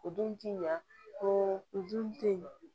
O dun ti ɲa ko o dun te ye